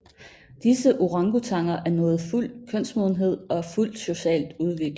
Disse orangutanger er nået fuld kønsmodenhed og er fuldt socialt udviklede